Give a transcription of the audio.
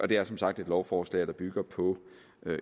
det er som sagt et lovforslag der bygger på